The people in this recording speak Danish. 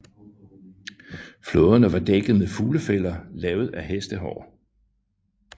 Flåderne var dækket med fuglefælder lavet af hestehår